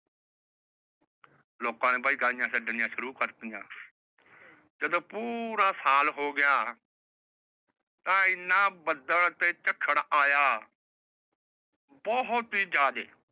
ਲੋਕਾਂ ਨੇ ਬਾਈ ਗਾਈਆਂ ਛੱਡਣੀਆਂ ਸ਼ੁਰੂ ਕਾਰਤੀਆ। ਜਦੋ ਪੂਰਾ ਸਾਲ ਹੋ ਗਿਆ ਤਾਂ ਏਨਾ ਬੱਦਲ ਤੇ ਝੱਖੜ ਆਇਆ। ਬਹੁਤ ਹੀ ਜਾਈਦੇ